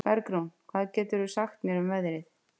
Bergrún, hvað geturðu sagt mér um veðrið?